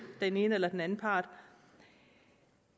den ene eller den anden part